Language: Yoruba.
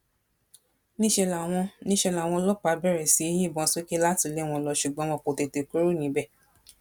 níṣẹ làwọn níṣẹ làwọn ọlọpàá bẹrẹ sí í yìnbọn sókè láti lé wọn lọ ṣùgbọn wọn kò tètè kúrò níbẹ